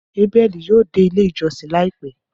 Abeli ​​yoo de ile ijọsin laipẹ